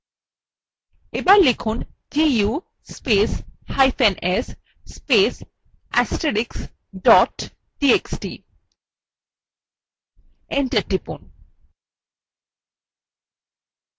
এবার লিখুন du spacehyphen s space * astrix dot txt enter টিপুন